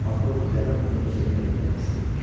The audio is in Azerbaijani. Polkovnikləri onu öz evinə göndərmək istəyirmiş.